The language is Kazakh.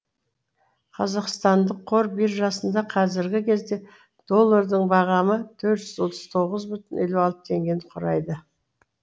қазақстандық қор биржасында қазіргі кезде доллардың бағамы төрт жүз отыз тоғыз бүтін елу алты теңгені құрайды